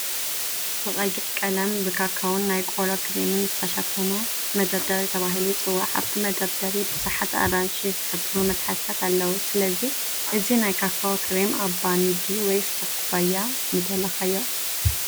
ብቐይሕ ቀለም ብካካዎን ናይ ቆሎ ክሬምን ዝተሸፈነ መደርደሪ ተባሂሉ ይጽዋዕ። ኣብቲ መደርደሪ ብዙሓት ኣራንሺ ዝሕብሩ መትሓዚታት ኣለዉ፣ ስለዚ፡ እዚ ናይ ካካዎ ክሬም ኣብ ባኒ ድዩ ወይስ ኣብ ኩባያ ምደለኻዮ?